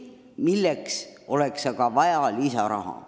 Selleks oleks aga vaja lisaraha.